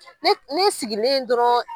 Ne ne sigilen dɔrɔn